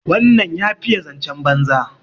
wannan ya fiye zancen banza